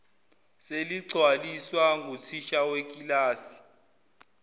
seligcwaliswa nguthisha wekilasi